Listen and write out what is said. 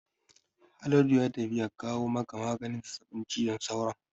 Haladu ya tafi ya kawo maka maganin zazzabin cizon sauron